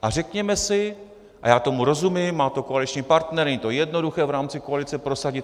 A řekněme si, a já tomu rozumím, má to koaliční partner, není to jednoduché v rámci koalice prosadit.